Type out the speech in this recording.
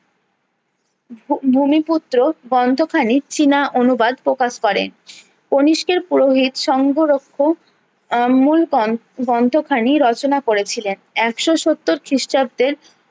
ভূমি পুত্র গ্রন্থ খানেক চীনা অনুবাদ প্রকাশ করেন কণিষ্কের পুরোহিত সংঘরুক্ষ আহ মূল গ্রন্থখানি রচনা করেছিলেন একশো সত্তর খিষ্টাব্দের